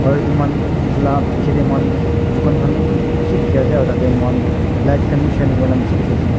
aru etu moi khan etu laga pichey tey moi khan dukan khan vi bishi dekhi ase aru tatey moi khan light khan vi shining kurina beshi dekhi ase.